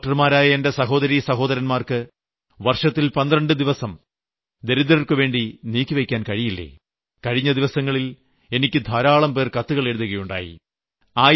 എന്താ ഡോക്ടർമാരായ എന്റെ സഹോദരീസഹോദരന്മാർക്ക് വർഷത്തിൽ 12 ദിവസം ദരിദ്രർക്കുവേണ്ടി നീക്കിവെയ്ക്കാൻ കഴിയില്ലേ കഴിഞ്ഞ ദിവസങ്ങളിൽ എനിക്ക് ധാരാളംപേർ കത്തുകൾ എഴുതി